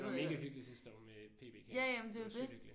Det var mega hyggeligt sidste år med PB kan jeg huske. Det var sygt hyggeligt